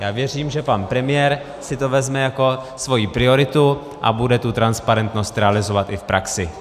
Já věřím, že pan premiér si to vezme jako svoji prioritu a bude tu transparentnost realizovat i v praxi.